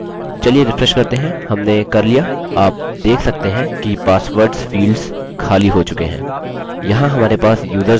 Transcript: चलिए रिफ्रेश करते हैं हमने कर लिया आप देख सकते हैं कि पासवर्ड्स फील्ड्स खाली हो चुके हैं